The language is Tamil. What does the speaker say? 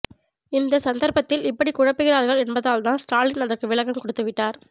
இந்த சந்தர்ப்பத்தில் இப்படி குழப்புகிறார்கள் என்பதால்தான் ஸ்டாலின் அதற்கு விளக்கம் கொடுத்துவிட்டார்